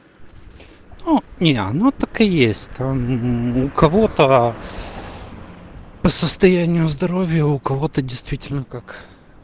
ну не оно так и есть там у кого-то по состоянию здоровья у кого-то действительно как